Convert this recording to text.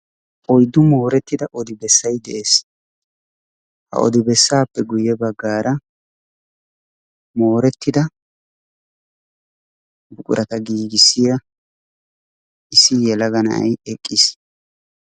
Oyddu moorettida odi beessay dees. Ha odi bessaappe guyye baggaara moorettida buqurata giigissiyaa issi yelaga na'ay eqqiis.